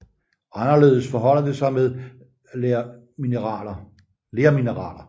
Anderledes forholder det sig med lermineraler